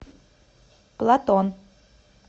платон